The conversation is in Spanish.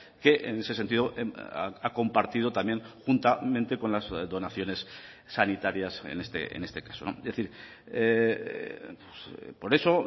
que en ese sentido ha compartido también juntamente con las donaciones sanitarias en este caso es decir por eso